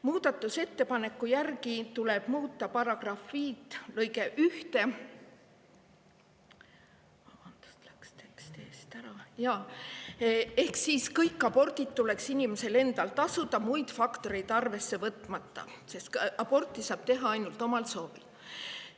muudetakse § 5 lõiget 1 ehk kõikide abortide eest tuleks tasuda inimesel endal, muid faktoreid arvesse võtmata, sest aborti saab teha ainult omal soovil.